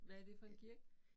Hvad er det for en kirke?